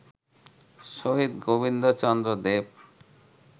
Shahid Gobinda Chandra Dev